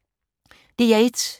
DR1